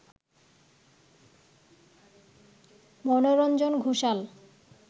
Manoranjan Ghoshal